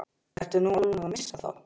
Ertu nú alveg að missa það?